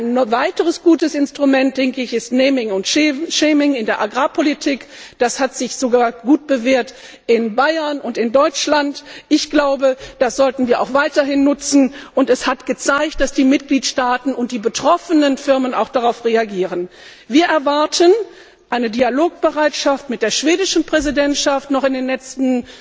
Ein weiteres gutes Instrument ist naming and shaming in der Agrarpolitik, das hat sich sogar in Bayern und in Deutschland gut bewährt. Ich glaube, das sollten wir auch weiterhin nutzen, und es hat sich gezeigt, dass die Mitgliedstaaten und die betroffenen Firmen auch darauf reagieren. Wir erwarten eine Dialogbereitschaft mit der schwedischen Präsidentschaft noch in den nächsten